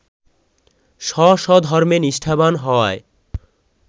স্ব-স্ব ধর্মে নিষ্ঠাবান হওয়ায়